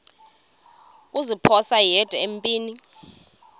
kuziphosa yedwa empini